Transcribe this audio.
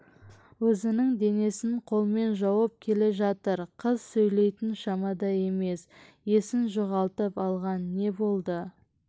өзінің денесін қолмен жауып келе жатыр қыз сөйлейтін шамада емес есін жоғалтып алған не болды